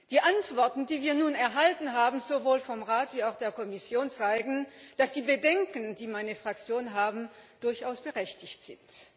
Die Antworten, die wir nun erhalten haben sowohl vom Rat wie auch von der Kommission zeigen, dass die Bedenken, die meine Fraktion hat, durchaus berechtigt sind.